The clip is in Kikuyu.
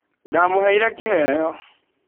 Ndamũheire kĩheo.